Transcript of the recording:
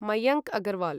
Mayank Agarwal